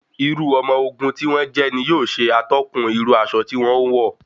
Irú ọmọ ogun tí wọ́n jẹ́ ní yóò ṣe atọ́kùn irú aṣọ tí wọn ń wọ̀.